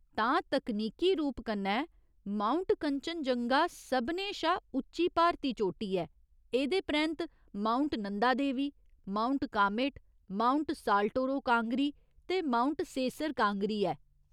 तां, तकनीकी रूप कन्नै, माउंट कंचनजंगा सभनें शा उच्ची भारती चोटी ऐ, एह्दे परैंत्त mount Nanda Devi, mount Kamet, mount Saltoro Kangri, ते माउंट सेसर कांगरी ऐ।